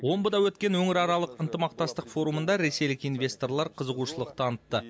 омбыда өткен өңіраралық ынтымақтастық форумында ресейлік инвесторлар қызығушылық танытты